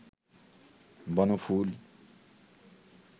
বনফুল